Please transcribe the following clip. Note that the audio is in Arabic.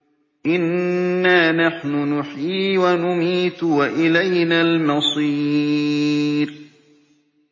إِنَّا نَحْنُ نُحْيِي وَنُمِيتُ وَإِلَيْنَا الْمَصِيرُ